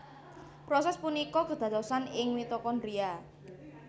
Prosès punika kédadosan ing mitokondria